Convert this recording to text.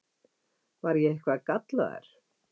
Var ég eitthvað gallaður?